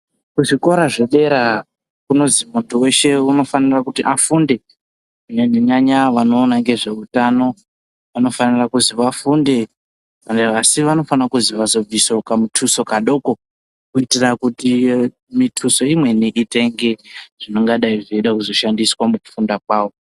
Ku zvikora zve dera kunozi muntu weshe unofanira kuti afunde kunyanya nyanya vanoona ne zveutano vanofanira kuzi vafunde asi vanofanira kuzi vazo bvisawo kamutoso kadoko kuitira kuti mituso imweni itenge zvingadai zveizo shandiswa muku funda kwavo.